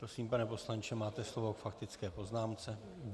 Prosím, pane poslanče, máte slovo k faktické poznámce.